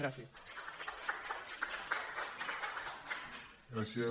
gràcies